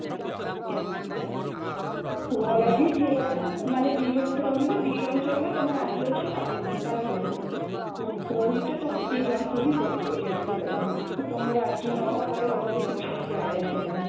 ପୁଅ ରାଜି ଝିଅ ରାଜି ସେମାନେ ଦି ଜଣ ତ ରହିବେ ଦି ଜଣ ଚଳିବେ ତମେ ଆଜି ଅଛ କାଲୁ କାଲି ନାହିଁ ରହିତେ ତମ ଦି ଜଣଙ୍କୁ ହିଁ ପଡିବ ଯେମତି ହେଲେ ତ ତମର ରାଜି ନହବା ହବାରେ କିଛି ବି ଯାଏ ଆସେ ନାହିଁ